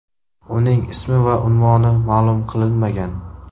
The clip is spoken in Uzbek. Uning ismi va unvoni ma’lum qilinmagan.